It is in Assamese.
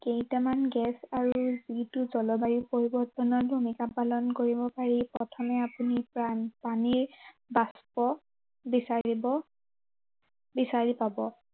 কেইটামান গেছ আৰু যিটো জলবায়ু পৰিৱৰ্তনৰ ভূমিকা পালন কৰিব পাৰি, প্ৰথমে আপুনি পানীৰ বাস্প বিচাৰিব বিচাৰি পাব।